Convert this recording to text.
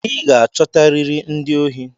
I ga-achotariri ndị ohi!